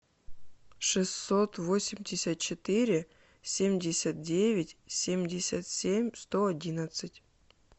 шестьсот восемьдесят четыре семьдесят девять семьдесят семь сто одиннадцать